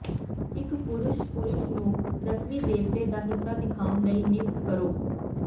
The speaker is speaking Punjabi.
ਇਕ ਪੁਰਸ਼ ਪੁਰਸ਼ ਨੂੰ ਰਸਮੀ ਦੇਵਤੇ ਦਾ ਹਿੱਸਾ ਦਿਖਾਉਣ ਲਈ ਨਿਯੁਕਤ ਕਰੋ